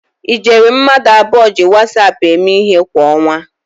Ijeri mmadụ abụọ ji Wasap eme ihe kwa ọnwa